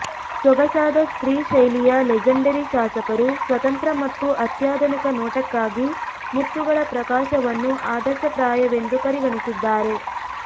ಸೊಗಸಾದ ಸ್ತ್ರೀ ಶೈಲಿಯ ಲೆಜೆಂಡರಿ ಶಾಸಕರು ಸ್ವತಂತ್ರ ಮತ್ತು ಅತ್ಯಾಧುನಿಕ ನೋಟಕ್ಕಾಗಿ ಮುತ್ತುಗಳ ಪ್ರಕಾಶವನ್ನು ಆದರ್ಶಪ್ರಾಯವೆಂದು ಪರಿಗಣಿಸಿದ್ದಾರೆ